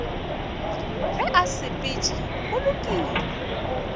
ge a sepetše go lokile